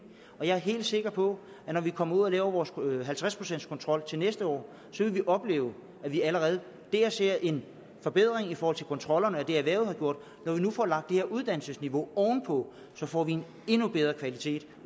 og jeg er helt sikker på at når vi kommer ud og laver vores halvtreds procents kontrol til næste år vil vi opleve at vi allerede der ser en forbedring i forhold til kontrollerne af det erhvervet har gjort når vi nu får lagt det her uddannelsesniveau oven på får vi en endnu bedre kvalitet